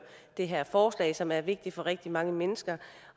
det her forslag som er vigtigt for rigtig mange mennesker